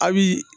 A' bi